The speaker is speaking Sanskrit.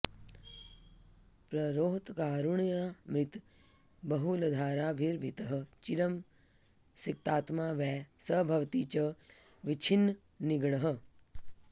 प्ररोहत्कारुण्यामृतबहुलधाराभिरभितः चिरं सिक्तात्मा वै स भवति च विच्छिन्ननिगडः